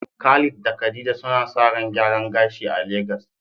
Khalid da khadija suna sa ran gyaran gashi a Lagos